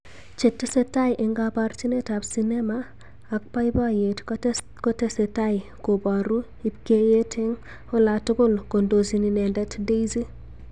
chetesetai eng kabarjinet ab sinema ak boiboyrt kotesetai koboru lbkeyet eng olatukul kondojin inendet Daisy